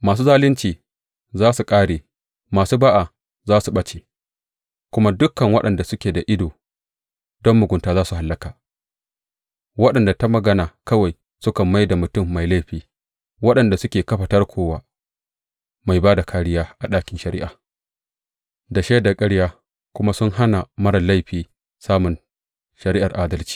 Masu zalunci za su ƙare, masu ba’a za su ɓace, kuma dukan waɗanda suke da ido don mugunta za su hallaka, waɗanda ta magana kawai sukan mai da mutum mai laifi, waɗanda suke kafa tarko wa mai ba da kāriya a ɗakin shari’a da shaidar ƙarya kuma su hana marar laifi samun shari’ar adalci.